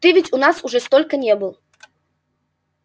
ты ведь у нас уже сколько не был